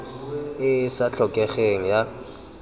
e e sa tlhokegeng ya